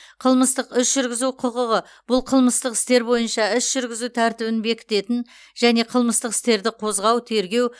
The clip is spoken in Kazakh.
қылмыстық іс жүргізу құқығы бұл қылмыстық істер бойынша іс жүргізу тәртібін бекітетін және қылмыстық істерді қозғау тергеу